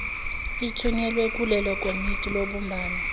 ithunyelwa kulelikomiti lobumbano